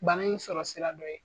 Bana in sɔrɔ sira dɔ ye.